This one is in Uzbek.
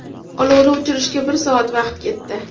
Olovni o‘chirishga bir soat vaqt ketdi.